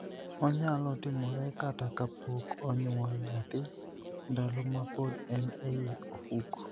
Onyalo timore kata ka pok onyuol nyathi, ndalo ma pod en ei ofuko.